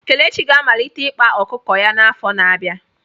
Kelechi ga-amalite ịkpa ọkụkọ ya n'afọ na-abịa.